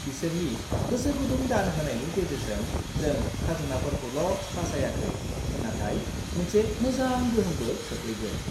बिसोरनि गोसोगुदुं दान होनायनि गेजेरजों, जों खाजोनाफोरखौल' बासायाखै, नाथाय मोनसे मोजां गोहोमबो खोख्लैदों!